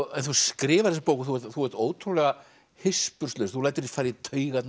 þú skrifar þessa bók þú ert ótrúlega hispurslaus þú lætur fara í taugarnar á